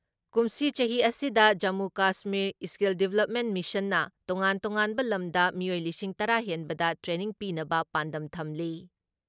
ꯀꯨꯝꯁꯤ ꯆꯍꯤ ꯑꯁꯤꯗ ꯖꯃꯨ ꯀꯁꯃꯤꯔ ꯏꯁꯀꯤꯜ ꯗꯤꯕ꯭ꯂꯞꯃꯦꯟ ꯃꯤꯁꯟꯅ ꯇꯣꯉꯥꯟ ꯇꯣꯉꯥꯟꯕ ꯂꯝꯗ ꯃꯤꯑꯣꯏ ꯂꯤꯁꯤꯡ ꯇꯔꯥ ꯍꯦꯟꯕꯗ ꯇ꯭ꯔꯦꯅꯤꯡ ꯄꯤꯅꯕ ꯄꯥꯟꯗꯝ ꯊꯝꯂꯤ ꯫